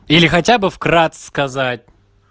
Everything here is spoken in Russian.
или хотя бы вкратце сказать